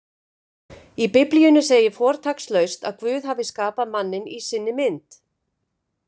Í Biblíunni segir fortakslaust að Guð hafi skapað manninn í sinni mynd: